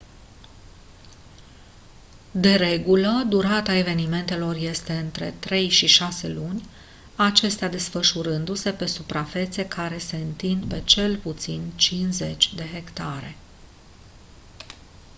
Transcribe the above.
de regulă durata evenimentelor este între trei și șase luni acestea desfășurându-se pe suprafețe care se întind pe cel puțin 50 de hectare